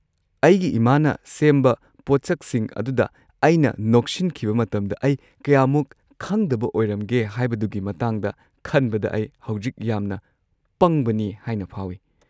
ꯑꯩꯒꯤ ꯏꯃꯥꯅ ꯁꯦꯝꯕ ꯄꯣꯠꯁꯛꯁꯤꯡ ꯑꯗꯨꯗ ꯑꯩꯅ ꯅꯣꯛꯁꯤꯟꯈꯤꯕ ꯃꯇꯝꯗ ꯑꯩ ꯀꯌꯥꯃꯨꯛ ꯈꯪꯗꯕ ꯑꯣꯏꯔꯝꯒꯦ ꯍꯥꯏꯕꯗꯨꯒꯤ ꯃꯇꯥꯡꯗ ꯈꯟꯕꯗ ꯑꯩ ꯍꯧꯖꯤꯛ ꯌꯥꯝꯅ ꯄꯪꯕꯅꯤ ꯍꯥꯏꯅ ꯐꯥꯎꯏ꯫